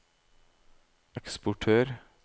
eksportør